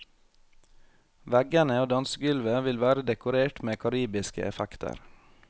Veggene og dansegulvet vil være dekorert med karibiske effekter.